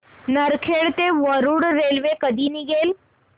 नरखेड ते वरुड रेल्वे कधी निघेल